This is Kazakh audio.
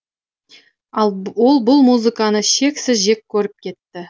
ол бұл музыканы шексіз жек көріп кетті